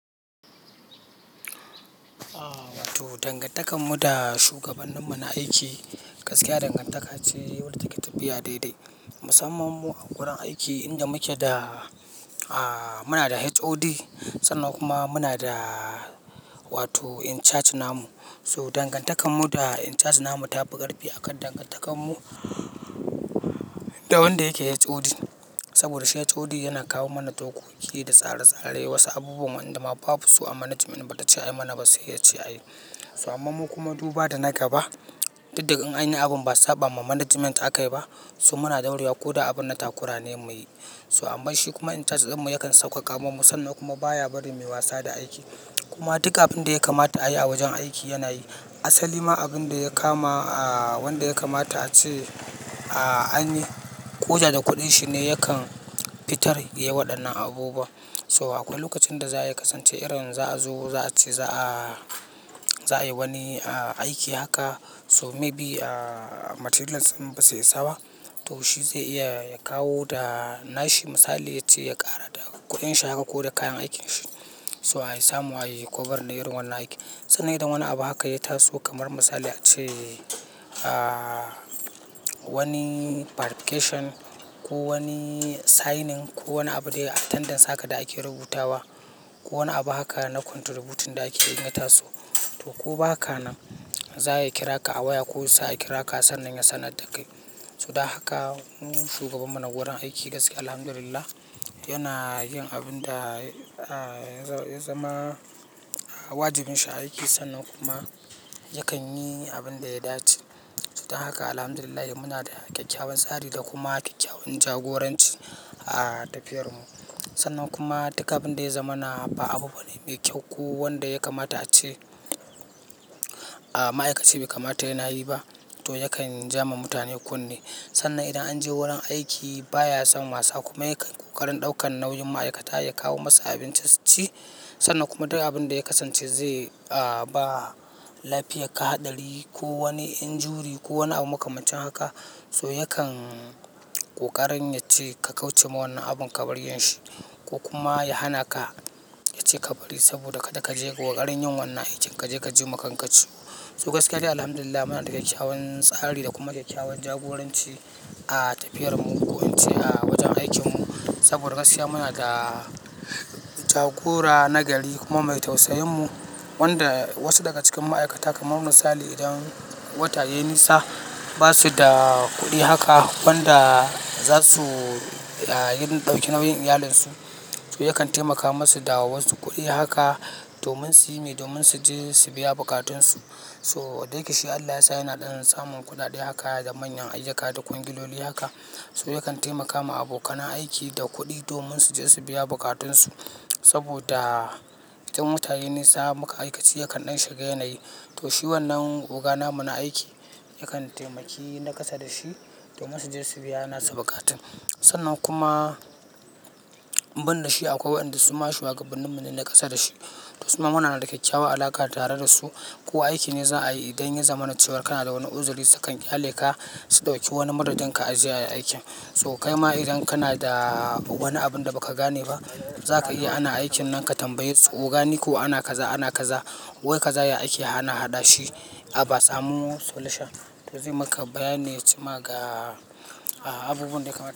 Wato dangantakan mu da shugaban mu na aiki, gaskiya dangantaka ce wadda take tafiya daidai. Musamman mu a gurin aiki inda muke da, ah muna da HOD sannan kuma muna da wato in charge namu. So dangantakan mu da in charge namu ta fi ƙarfi akan dangantakar mu da wanda yake HOD. Saboda shi HOD yana kawo mana dokoki da tsare-tsare wasu abubuwan wanda ma babu su a managiment bata ce mana ba sai ya ce ayi. So amma mu kuma duba da na gaba, duk da in anyi abun ba sabama managiment aka yi ba so muna dauriya ko da abin na takura ne muyi. So amma shi kuma in charge din mu yakan sauƙaƙa ma mu sannan kuma baya bari mai wasa da aiki. Kuma duk abin da ya kamata a yi a wajen aiki yana yi. Asali ma abin da ya kama wanda ya kamata ace anyi, koda da kuɗin shi ne yakan fitar ya waɗannan abubuwa. So akwai lokacin da za'a kasance irin za'a zo za'a ce za'a, za'a yi wani ah aiki haka so may bi materi yal din basu isaba to shi zai iya ya kawo da nashi misali yace ya ƙara da kuɗin shi haka ko da kayan aikin shi. So ai samu ayi kobarin irin wannan aikin. Sannan idan wani abu haka ya taso kamar misali ace ah wani barifikesion ko wani signing ko wani abu dai attendance haka da ake rubutawa ko wani abu haka na konturubutin da ake yana taso to ko ba haka nan za'a kira ka a waya ko su sa'a kira ka sannan ya sanar da kai. To dan haka shugaban mu na wurin aiki gaskiya Alhamdulillah yana yin abin da ya zama wajibin shi a aiki sannan kuma yakan yi abin da ya dace. Donn haka Alhamdulillah muna da kyakkyawan tsari da kuma kyakkyawan jagoranci a tafiyar mu. Sannan kuma duka abin da ya zama na ba abu bane me kyau ko wanda ya kamata ace ah ma'aikaci bai kamata yana yi ba to yakan ja ma mutane kunne. Sannan idan an je wurin aiki baya son wasa kuma yakan ƙoƙarin ɗaukan nauyin ma'aikata ya kawo masu abin da su ci sannan kuma duka abin da ya kasance zai ba lafiya ka haɗari ko wani injuri ko wani abu makamancin haka so yakan ƙoƙarin yace ka kauce ma wannan abun ka bari yin shi. Ko kuma ya hana ka ya ce ka bari saboda kada ka je waƙarin yin wannan aikin. Kaje ka ji ma kanka ciwo. So gaskiya dai Alhamdulillah muna da kyakkyawan tsari da kuma kyakkyawan jagoranci a tafiyar mu wajen aikin mu. Saboda gaskiya muna da jagora nagari kuma mai tausayin mu wanda wasu daga cikin ma'aikata kamar misali idan wata yayi nisa basu da kuɗi haka wanda za su yi don ɗauki nauyin iyalansu. To yakan taimaka masu da wa wasu kuɗi haka domin su yi me, domin su je su biya bukatun su. To da yake shi Allah yasa yana ɗan samun kuɗaɗe haka da manyan ayyuka da kwangiloli haka so yakan taimaka ma abokanan aiki da kuɗi domin su je su biya bukatun su. Saboda idan wata yayi nisa muka aikaci yakan ɗan shiga yanayi. To shi wannan oga namu na aiki yakan taimaki na ƙasa da shi domin su je su biya nasa buƙatun. Sannan kuma binda shi akwai wayanda suma shugabannin mu ne na ƙasa da shi. To suma muna da kyakkyawa alaka tare da su. Ko aiki ne za'a yi idan ya zama na cewa kana da wani uzuri su kan ƙyale ka su ɗauki wani madadin ka aje ayi aiki. So kai ma idan kana da wani abun da ba ka gane ba, za ka iya ana aikin nan ka tambaye su oga ne ko ana kaza, ana kaza wai kaza yayi aiki ana haɗa shi a ba samu solution. To zai maka bayani ya ce ma ga abubuwan da yake kamata.